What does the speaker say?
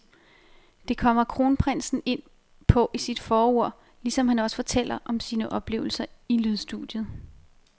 Det kommer kronprinsen ind på i sit forord, ligesom han også fortæller om sine oplevelser i lydstudiet.